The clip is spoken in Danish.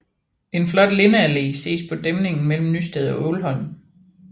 En flot lindeallé ses på dæmningen mellem Nysted og Ålholm